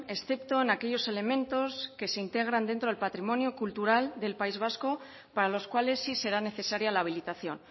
excepto en aquellos elementos que se integran dentro del patrimonio cultural del país vasco para los cuales sí será necesaria la habilitación